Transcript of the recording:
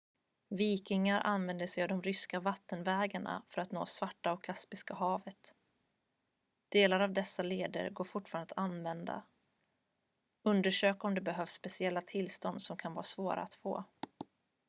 vikingar använde sig av de ryska vattenvägarna för att nå svarta- och kaspiska havet delar av dessa leder går fortfarande att använda undersök om det behövs speciella tillstånd som kan vara svåra att få